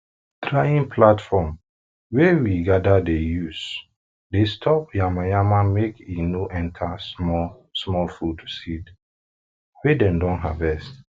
drying platform wey platform wey we gather dey use dey stop yamayama make e no enter small small food sed wey dem don harvest